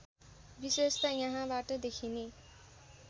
विशेषता यहाँबाट देखिने